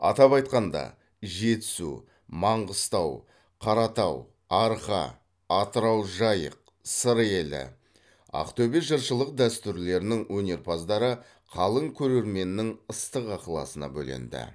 атап айтқанда жетісу маңғыстау қаратау арқа атырау жайық сыр елі ақтөбе жыршылық дәстүрлерінің өнерпаздары қалың көрерменнің ыстық ықыласына бөленді